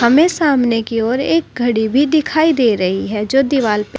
हमें सामने की ओर एक घड़ी भी दिखाई दे रही है जो दिवाल पर--